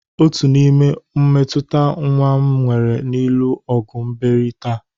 Otu n'ime mmetụta nwa m nwere n'ịlụ ọgụ mebiri taa